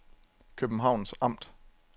Københavns Amt